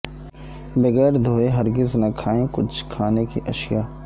بغیر دھوئے ہرگز نہ کھائیں کچھ کھانے کی اشیاء